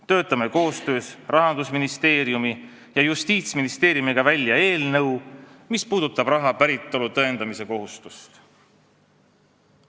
Töötame koostöös Rahandusministeeriumi ja Justiitsministeeriumiga välja eelnõu, mis puudutab raha päritolu tõendamise kohustust.